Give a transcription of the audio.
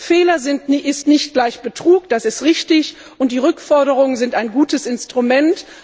Fehler sind nicht gleich Betrug, das ist richtig, und die Rückforderungen sind ein gutes Instrument.